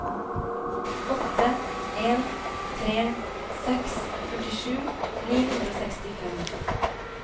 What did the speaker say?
åtte en tre seks førtisju ni hundre og sekstifem